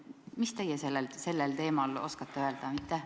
Mis teie sellel teemal oskate öelda?